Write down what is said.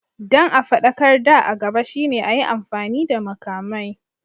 Don a faɗakar da a gaba shine a yi amfani da makamai.